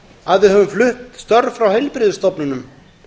að við höfum flutt störf frá heilbrigðisstofnunum